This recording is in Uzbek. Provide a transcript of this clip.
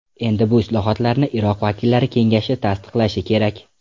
Endi bu islohotlarni Iroq vakillar Kengashi tasdiqlashi kerak.